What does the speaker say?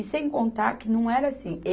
E sem contar que não era assim.